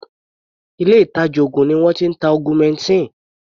Ilé ìtàjà oògùn ni wọ́n ti ń ta augmentin.